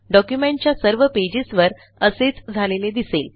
डॉक्युमेंटच्या सर्व पेजेस वर असेच झालेले दिसेल